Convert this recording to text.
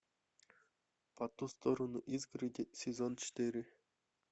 по ту сторону изгороди сезон четыре